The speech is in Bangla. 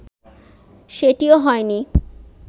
সেটিও হয়নি